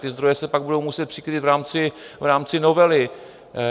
Ty zdroje se pak budou muset přikrýt v rámci novely.